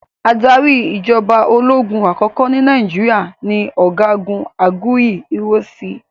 Adarí ìjọba ológun àkọ́kọ́ ní Nàìjíríà ni ọ̀gágun Aguiyi Ironsi